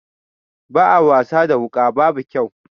A'a wasa da wuka babu kyau.